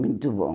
Muito bom.